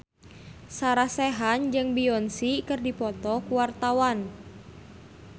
Sarah Sechan jeung Beyonce keur dipoto ku wartawan